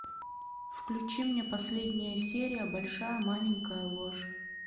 включи мне последняя серия большая маленькая ложь